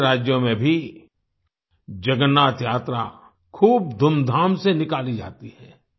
दूसरे राज्यों में भी जगन्नाथ यात्रा खूब धूमधाम से निकाली जाती हैं